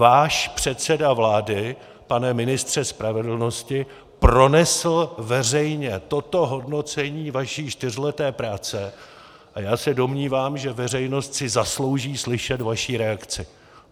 Váš předseda vlády, pane ministře spravedlnosti, pronesl veřejně toto hodnocení vaší čtyřleté práce a já se domnívám, že veřejnost si zaslouží slyšet vaši reakci.